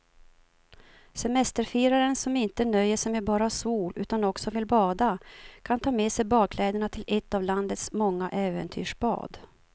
Semesterfiraren som inte nöjer sig med bara sol utan också vill bada kan ta med sig badkläderna till ett av landets många äventyrsbad.